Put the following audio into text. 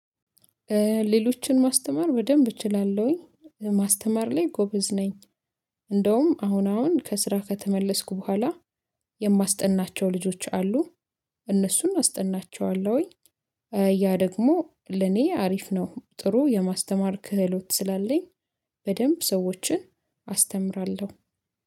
ሌሎችን ማስተማር በደንብ እችላለሁኝ ማስተማር ላይ ጎበዝ ነኝ። እንደውም አሁን አሁን ከስራ ከተመለስኩ በኋላ የማስጠናቸው ልጆች አሉ። እነሱን አስጠናቸዋለሁኝ። ያ ደግሞ ለኔ አሪፍ ነው ጥሩ የማስተማር ክህሎት ስላለኝ። በደንብ ሰዎችን አስተምራለሁ